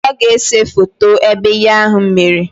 Ọ ga-ese foto ebe ihe ahụ mere